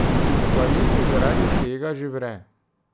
V koaliciji zaradi tega že vre.